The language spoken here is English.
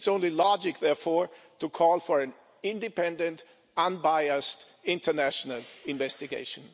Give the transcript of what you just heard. It's only logical, therefore, to call for an independent, unbiased international investigation.